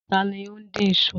Ta ló ń dín isu?